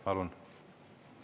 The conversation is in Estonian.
Palun!